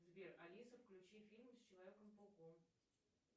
сбер алиса включи фильмы с человеком пауком